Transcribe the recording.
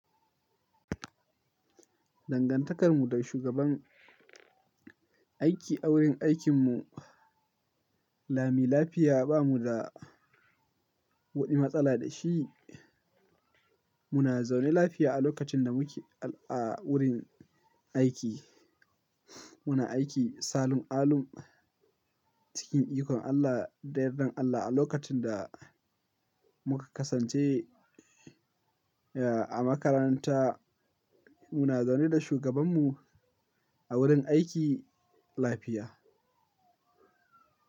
Dangantakarmu da shugaban aiki a wurin aikinmu, lami lafiya bamu da wani matsala da shi. Muna zaune lafiya a lokacin da muke a wurin aiki. Muna aiki salun alum cikin ikon Allah da yardan Allah a lokacin da muka kasance a makaranta. Muna zaune da shugabanmu a wurin aiki lafiya.